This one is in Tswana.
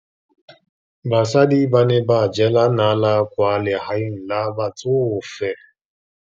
Basadi ba ne ba jela nala kwaa legaeng la batsofe.